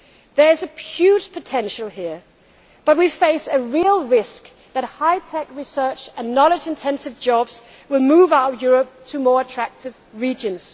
There is a huge potential here, but we face a real risk that high tech research and knowledge intensive jobs will move out of Europe to more attractive regions.